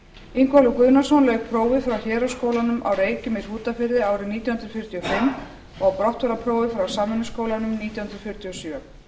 ingólfur guðnason lauk prófi frá héraðsskólanum á reykjum í hrútafirði árið nítján hundruð fjörutíu og fimm og brottfararprófi frá samvinnuskólanum nítján hundruð fjörutíu og sjö